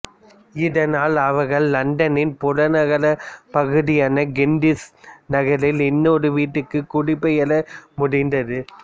இதனால் அவர்கள் இலண்டனின் புறநகர்ப் பகுதியான கெண்டிஷ் நகரில் இன்னொரு வீட்டுக்குக் குடிபெயர முடிந்தது